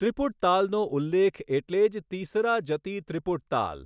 ત્રિપુટ તાલનો ઉલ્લેખ એટલે જ તીસરા જતિ ત્રિપુટ તાલ.